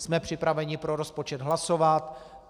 Jsme připraveni pro rozpočet hlasovat.